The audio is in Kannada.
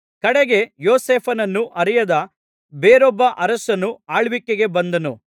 ಕಡೆಗೆ ಯೋಸೇಫನನ್ನು ಅರಿಯದ ಬೇರೊಬ್ಬ ಅರಸನು ಆಳ್ವಿಕೆಗೆ ಬಂದನು